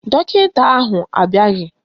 Dọkịta ahụ abịaghị